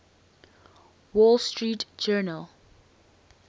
wall street journal